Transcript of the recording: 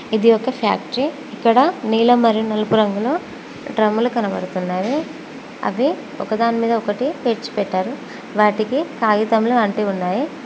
ఇది ఒక ఫ్యాక్టరీ ఇక్కడ నీలం మరియు నలుగు రంగులు డ్రమ్ములు కనపడుతున్నావి అవి ఒకదాని మీద ఒకటి పేర్చి పెట్టారు వాటికి కాగితములు అంటి ఉన్నాయి.